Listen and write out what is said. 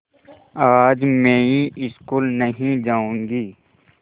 आज मैं स्कूल नहीं जाऊँगी